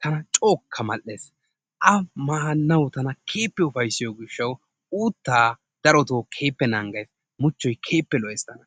tanaa co'okkaa male'ees,a manawu tana kehippee uppaysiyo gishawu, uttaa darottoo kehippe naga'aysi muchchoy kehippe lo'oees taana.